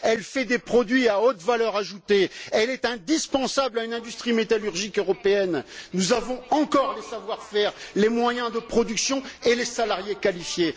elle fait des produits à haute valeur ajoutée, elle est indispensable à une industrie métallurgique européenne. Nous avons encore le savoir faire, les moyens de production et les salariés qualifiés.